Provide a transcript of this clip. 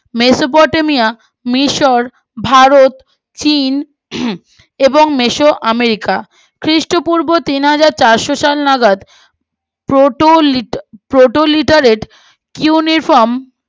Mesopotamia মিশর ভারত চীন এবং মেসো আমেরিকা খ্রীষ্ট পূর্ব তিনহাজার চারশো সাল নাগাদ প্রোটোলিট প্রোটো লিটারেড উনিফ্রম